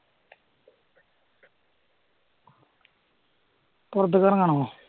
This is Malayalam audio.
പുറത്തേക്കിറങ്ങണോ